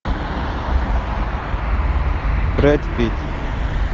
брэд питт